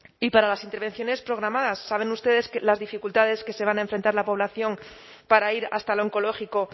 y para las intervenciones programadas saben ustedes las dificultades que se van a enfrentar la población para ir hasta el oncológico